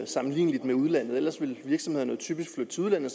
sammenligning med udlandet hvis vil virksomhederne typisk flytte til udlandet